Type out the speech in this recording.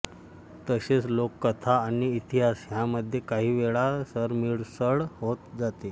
तसेच लोककथा आणि इतिहास ह्यांमधे काहीवेळा सरमिसळ होत जाते